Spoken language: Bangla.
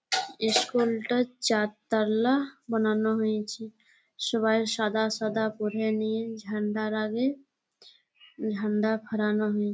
ইশকুলটা চার তালা বনানো হয়েছে । সবাই সাদা সাদা পরে নীল ঝাণ্ডার আগে ঝাণ্ডা খাড়ানো হয়ে--